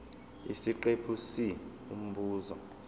isiqephu c umbuzo